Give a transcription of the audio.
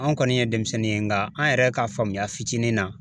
An kɔni ye denmisɛnnin ye nka an yɛrɛ ka faamuya fitinin na.